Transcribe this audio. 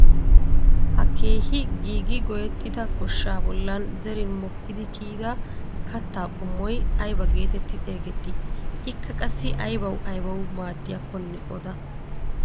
Ha keehi giigi goyettida goshshaa bollan zerin mokkidi kiyida kattaa qommoy aybaa getetti xeegettii? Ikka qassi aybawu aybawu maaddiyaakkonne oda?